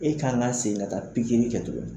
E kan ka segin ka taa pikiri kɛ tugun